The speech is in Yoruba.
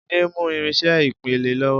Jide ń mú irinṣẹ́ ìpele lọ́wọ́